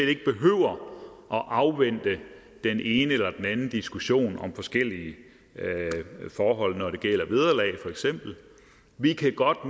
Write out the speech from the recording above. afvente den ene eller den anden diskussion om forskellige forhold når det gælder vederlag for eksempel vi kan godt